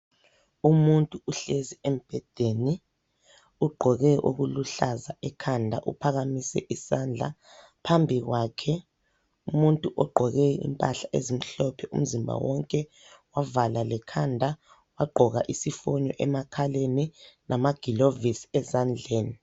Umuntu uhlezi embhedeni ugqoke okuluhlaza ekhanda, uphakamise isandla. Phambi kwakhe, umuntu ogqoke impahla ezimhlophe umzimba wonke, wavala lekhanda, wagqoka isifonyo emakhaleni, lamagilovisi ezandleni.